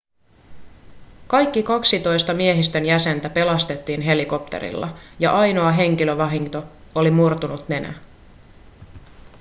kaikki kaksitoista miehistön jäsentä pelastettiin helikoptereilla ja ainoa henkilövahinko oli murtunut nenä